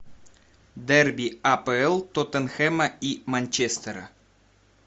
дерби апл тоттенхэма и манчестера